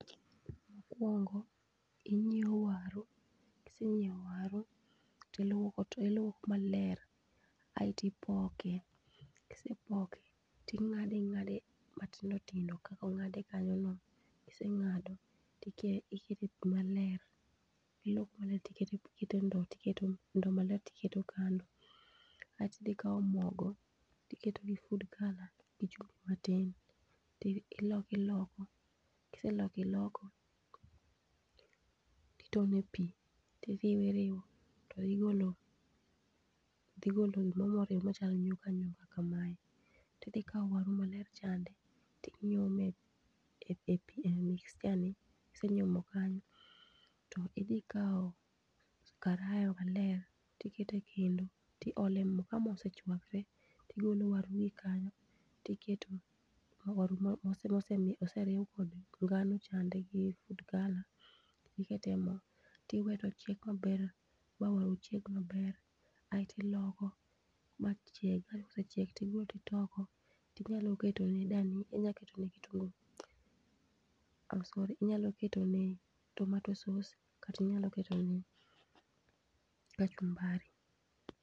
Mokwongo, inyiewo vwaru, kisenyiewo waru, tiluoko to iluoko maler aeti ipoke. Kise poke, ting'ade ing'ade matindo tindo kakong'ade kanyo no, kiseng'ado, tikete pi maler. Iluokone tikete ndow, ndo maler tiketo kando. Aeti dhi ikawo mogo, tiketo gi food colour gi chumbi matin, ti ioko iloko. Kise loko iloko, iketone pi, tiriwo iriwo, to dhi golo, dhi golo gimoro moriw machal nyuka nyuka kamae. Tidhi kawo waru maler chande, tinyume e stia ni. Kise nyumo kanyo, to idhi kawo karaya maler, tikete kendo tiole mo. Ka mo osechwakre, tigolo waru gi kanyo, tiketo waru moseriw kod ngano chande gi vfood colour, tikete mo. Tiwe tochiek maber ma vwaru chieg maber, aeti loko, ma chiegi. Kae kosechiek tibiro titoko, tinyalo keto ne dani, inyalo keto ne kitungu. Ah sorry, inyalo ketone vtomato sauce kata inyalo keto ne kachumbari.